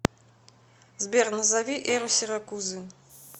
сбер назови эру сиракузы